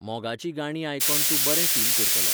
मोगाचीं गाणीं आयकोन तूं बरें फील करतलो.